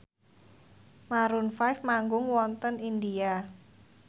Maroon 5 manggung wonten India